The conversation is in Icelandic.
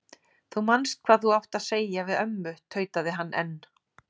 Þú manst hvað þú átt að segja við ömmu tautaði hann enn.